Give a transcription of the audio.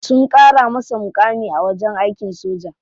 Sun kara masa mukami a wajen aikin soja.